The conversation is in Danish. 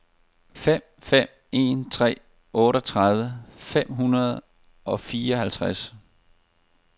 fem fem en tre otteogtredive fem hundrede og fireoghalvtreds